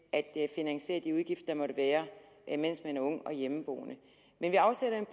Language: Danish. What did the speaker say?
at finansiere de udgifter der måtte være mens den unge er hjemmeboende men vi afsætter